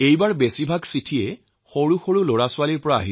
এইবাৰৰ বেছিভাগ চিঠিয়েই শিশুসকলৰ পৰা লাভ কৰিছো